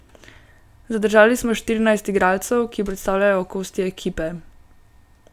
Zadržali smo štirinajst igralcev, ki predstavljajo okostje ekipe.